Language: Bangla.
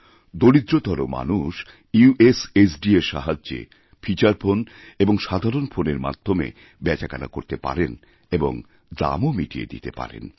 দরিদ্রতর মানুষ ইউএসএসডি এর সাহায্যে ফিচার ফোন এবং সাধারণ ফোনের মাধ্যমে বেচাকেনা করতে পারেন এবংদামও মিটিয়ে দিতে পারেন